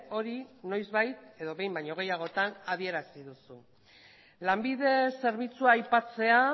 hori noizbait edo behin baino gehiagotan adierazi duzu lanbide zerbitzua aipatzea